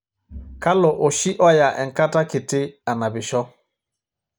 kalo oshi oya enkata kiti anapisho